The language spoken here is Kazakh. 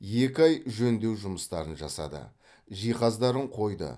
екі ай жөндеу жұмыстарын жасады жиһаздарын қойды